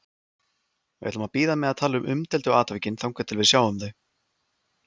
Við ætlum að bíða með að tala um umdeildu atvikin þangað til við sjáum þau.